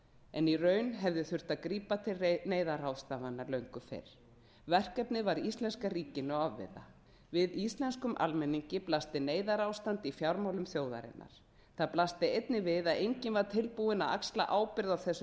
en í raun hefði þurft að grípa til neyðarráðstafana löngu fyrr verkefnið var íslenska ríkinu ofviða við íslenskum almenningi blasti neyðarástand í fjármálum þjóðarinnar það blasti einnig við að enginn var tilbúinn að axla ábyrgð á þessu